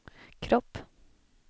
kropp